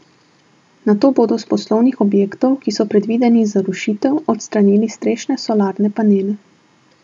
Nato bodo s poslovnih objektov, ki so predvideni za rušitev, odstranili strešne solarne panele.